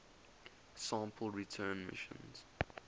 sample return missions